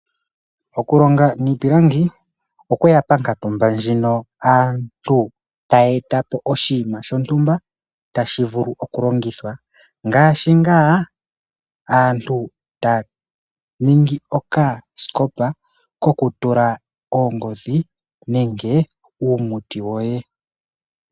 Okulonga niipilangi okweya mpompito ndjino aantu taa ningi oshinima shontumba tashi vulu okulongithwa